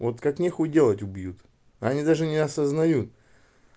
вот как нехуй делать убьют они даже не осознают